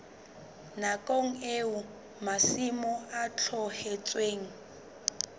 nakong eo masimo a tlohetsweng